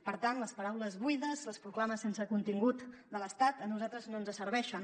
per tant les paraules buides les proclames sense contingut de l’estat a nosaltres no ens serveixen